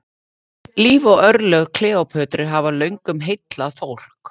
Líf og örlög Kleópötru hafa löngum heillað fólk.